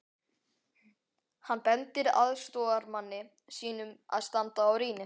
Hann bendir aðstoðarmanni sínum að standa á rýni.